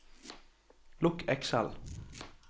lukk Excel